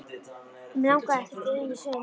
En mig langaði ekkert ein í sund.